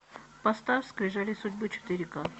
поставь скрижали судьбы четыре к